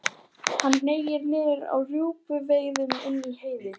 Hann hneig niður á rjúpnaveiðum inni í Heiði.